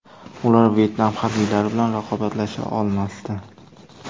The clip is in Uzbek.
Ular Vyetnam harbiylari bilan raqobatlasha olmasdi.